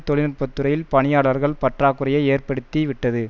தொழில் நுட்ப துறையில் பணியாளர்கள் பற்றாக்குறையை ஏற்படுத்தி விட்டது